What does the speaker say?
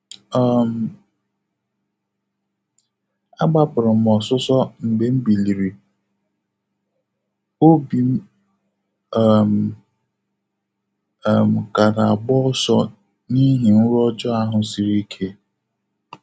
um A gbapụrụ m ọsụsọ mgbe m biliri, obi um m um ka na-agba ọsọ n'ihi nrọ ọjọọ ahụ siri ike.